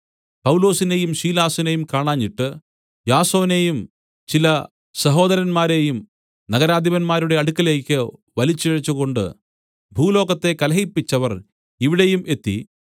പൗലൊസിനെയും ശീലാസിനെയും കാണാഞ്ഞിട്ട് യാസോനെയും ചില സഹോദരന്മാരെയും നഗരാധിപന്മാരുടെ അടുക്കലേക്ക് വലിച്ച് ഇഴച്ചുകൊണ്ട് ഭൂലോകത്തെ കലഹിപ്പിച്ചവർ ഇവിടെയും എത്തി